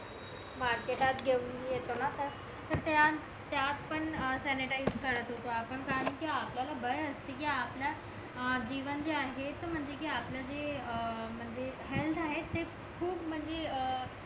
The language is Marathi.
मार्केटात घेऊन येतोना तर त्यानं त्यात पण सॅनिटाईझ करत होतो पण कारण कि आपल्याला भाय असते कि आपला अं जीवन जे आहे त म्हणजे कि आपला जे अं म्हणजे हेअल्थ आहे ते खूप म्हणजे अं